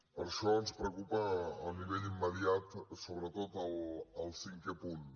per això ens preocupa a nivell immediat sobretot el cinquè punt